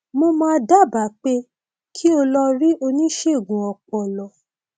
mo máa dábàá pé kí o lọ rí oníṣègùn ọpọlọ